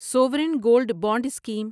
Soren gold bond scheme